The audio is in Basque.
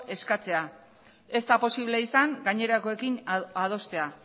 eskatzea ez da posible izan gainerakoekin adostea